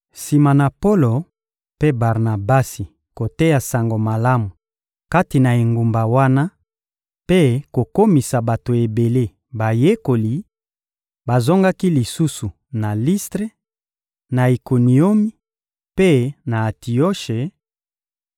Sima na Polo mpe Barnabasi koteya Sango Malamu kati na engumba wana mpe kokomisa bato ebele bayekoli, bazongaki lisusu na Listre, na Ikoniomi mpe na Antioshe;